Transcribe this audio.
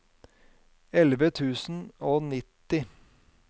elleve tusen og nitti